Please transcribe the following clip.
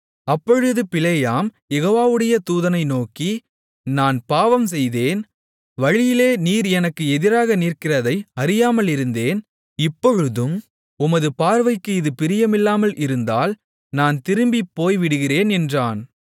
அப்பொழுது பிலேயாம் யெகோவாவுடைய தூதனை நோக்கி நான் பாவம்செய்தேன் வழியிலே நீர் எனக்கு எதிராக நிற்கிறதை அறியாமலிருந்தேன் இப்பொழுதும் உமது பார்வைக்கு இது பிரியமில்லாமல் இருந்தால் நான் திரும்பிப்போய்விடுகிறேன் என்றான்